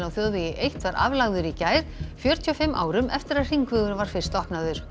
á þjóðvegi eitt var aflagður í gær fjörutíu og fimm árum eftir að hringvegurinn var fyrst opnaður